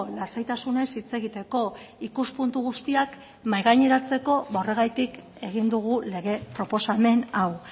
lasaitasunez hitz egiteko ikuspuntu guztiak mahai gaineratzeko ba horregatik egin dugu lege proposamen hau